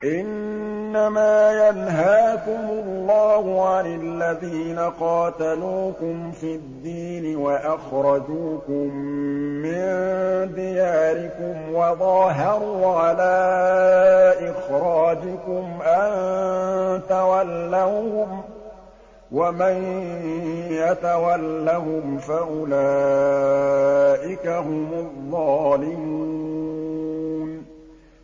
إِنَّمَا يَنْهَاكُمُ اللَّهُ عَنِ الَّذِينَ قَاتَلُوكُمْ فِي الدِّينِ وَأَخْرَجُوكُم مِّن دِيَارِكُمْ وَظَاهَرُوا عَلَىٰ إِخْرَاجِكُمْ أَن تَوَلَّوْهُمْ ۚ وَمَن يَتَوَلَّهُمْ فَأُولَٰئِكَ هُمُ الظَّالِمُونَ